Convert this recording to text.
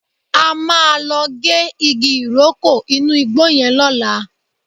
A máa lọ gé igi ìrókò inú igbó yẹn lọ́la